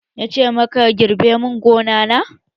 Na ce maka 'Girbe mun gona na'!